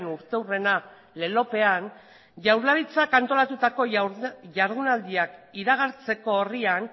urteurrena lelopean jaurlaritzak antolatutako jardunaldiak iragartzeko orrian